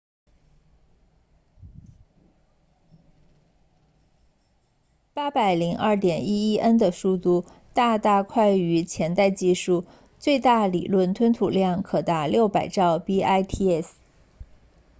802.11n 的速度大大快于前代技术最大理论吞吐量可达 600mbit/s